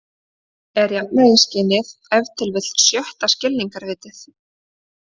Er jafnvægisskynið ef til vill sjötta skilningarvitið?